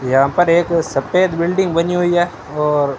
यहां पर एक सफेद बिल्डिंग बनी हुई है और--